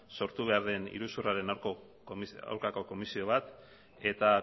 sortu behar den iruzurraren aurkako komisio bat eta